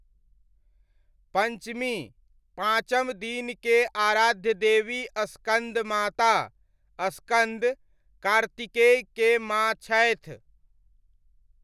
पञ्चमी, पाँचम दिन के आराध्य देवी स्कन्दमाता, स्कन्द, कार्तिकेय के माँ छथि।